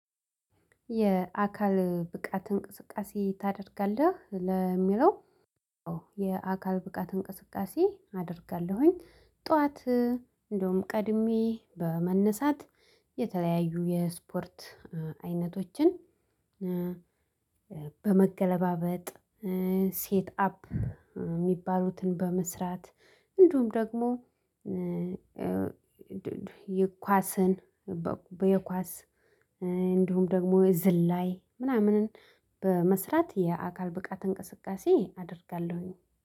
የአካል ብቃት እንቅስቃሴ ታደርጋለህ ለሚለው? የአካል ብቃት እንቅስቃሴ አደርጋለሁኝ። ጠዋት እንደውም ቀድሜ በመነሳት የተለያዩ የስፖርት አይነቶችን በመገለባበጥ ሴት አፕ የሚባሉትን በመስራት። እንደውም ደግሞ የኳስን በየኳስ እንዲሁም ደግሞ የዝላይ ምናምን በመስራት የአካል ብቃት እንቅስቃሴ አደርጋለሁኝ